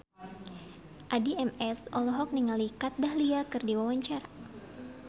Addie MS olohok ningali Kat Dahlia keur diwawancara